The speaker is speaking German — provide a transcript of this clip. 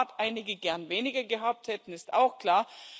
Dass im Rat einige gern weniger gehabt hätten, ist auch klar.